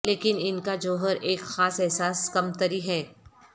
لیکن ان کا جوہر ایک خاص احساس کمتری ہے